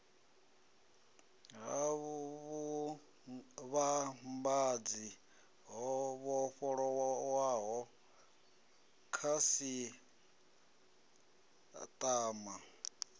ha vhuvhambadzi ho vhofholowaho khasiṱama